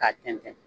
K'a tɛntɛn